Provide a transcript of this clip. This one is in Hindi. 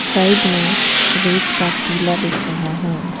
साइड में रेत का टीला दिख रहा है।